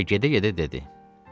Və gedə-gedə dedi: